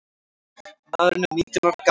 Maðurinn er nítján ára gamall.